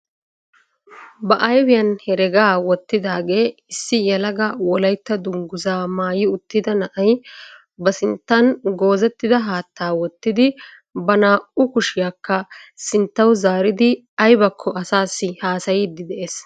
Ba ayfiyaan heregaa wottidaagee issi yelaga wollaytta dunguzzaa maayi uttida na'ay ba sinttan goozettida haattaa wottidi ba naa"u kushshiyaakka sinttawu zaaridi aybakko asaasi hasayiidi de'ees.